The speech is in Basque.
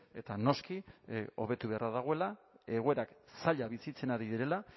eta noski hobetu beharra dagoela egoera zaila bizitzen ari direla